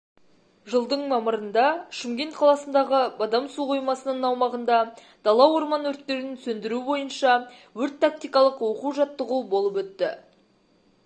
жылдың мамырында шымкент қаласындағы бадам су қоймасының аумағында дала-орман өрттерін сөндіру бойынша өрт-тактикалық оқу-жаттығу болып өтті